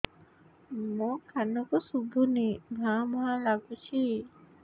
ମୋ କାନକୁ ଶୁଭୁନି ଭା ଭା ଲାଗୁଚି